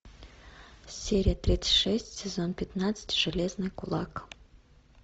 серия тридцать шесть сезон пятнадцать железный кулак